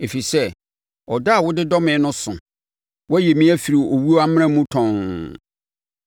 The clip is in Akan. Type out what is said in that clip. Ɛfiri sɛ, ɔdɔ a wode dɔ me no so; woayi me afiri owuo amena mu tɔnn.